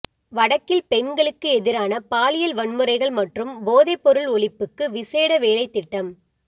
வடக்கில் பெண்களுக்கு எதிரான பாலியல் வன்முறைகள் மற்றும் போதைப் பொருள் ஒழிப்புக்கு விசேட வேலைத்திட்டம்